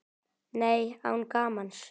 Nei, án gamans.